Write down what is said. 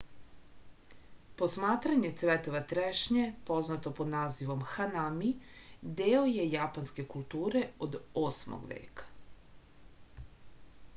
posmatranje cvetova trešnje poznato pod nazivom hanami deo je japanske kulture od 8. veka